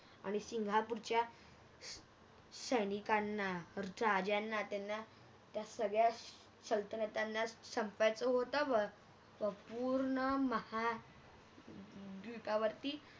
आणि सिंगापूरच्या सैनिकांना पुर अर चाच यांना त्यांना त्या सगळयाचच सलतणताना संपर्क होता व पूर्ण हम्म महायुद्धावरती